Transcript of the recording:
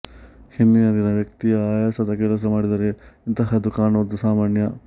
ಹಿಂದಿನ ದಿನ ವ್ಯಕ್ತಿ ಆಯಾಸದ ಕೆಲಸ ಮಾಡಿದ್ದರೆ ಇಂತಹದ್ದು ಕಾಣುವುದು ಸಾಮಾನ್ಯ